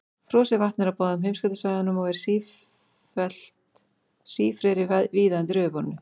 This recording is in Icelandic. Frosið vatn er á báðum heimskautasvæðunum og er sífreri víða undir yfirborðinu.